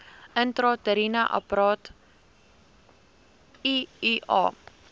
intrauteriene apparaat iua